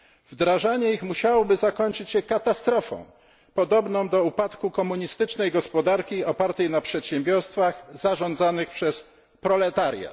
Wdrażanie ich musiałoby zakończyć się katastrofą podobną do upadku komunistycznej gospodarki opartej na przedsiębiorstwach zarządzanych przez proletariat.